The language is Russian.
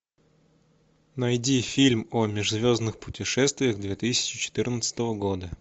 найди фильм о межзвездных путешествиях две тысячи четырнадцатого года